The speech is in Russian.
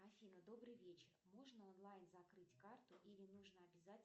афина добрый вечер можно онлайн закрыть карту или нужно обязательно